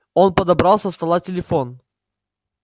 он подобрал со стола телефон